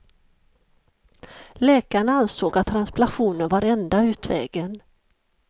Läkarna ansåg att transplantation var enda utvägen.